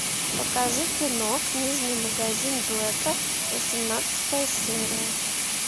покажи кино книжный магазин блэка восемнадцатая серия